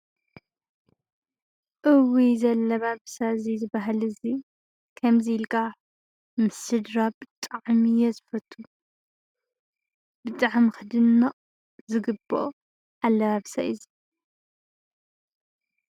እውይ! ዘላባብሳእዚ ዝባህሊ እዚ ከምዚይልካ ምስ ስድራ ብጣዕሚ እየ ዝፈቱ። ብጣዕሚ ክድነቕ ዝግበኦ ኣላባብሳ እዩ እዚ።